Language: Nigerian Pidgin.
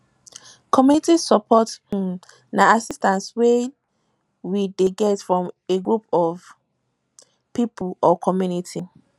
community support um na assistance wey we dey get from a group of pipo or community